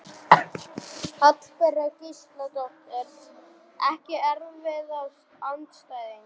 Hallbera Gísladóttir Ekki erfiðasti andstæðingur?